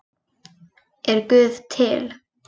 Er guð til